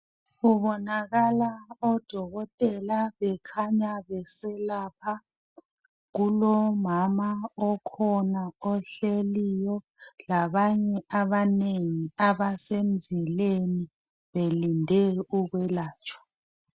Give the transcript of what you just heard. kubonakala odokotela bekhanya beselapha kulomama okhona ohleliyo labanye abanengi abasemzileni belinde ukwelatshwa